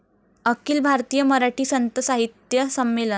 अखिल भारतीय मराठी संत साहित्य संमेलन